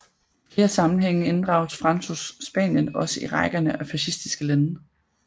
I flere sammenhænge inddrages Francos Spanien også i rækkerne af fascistiske lande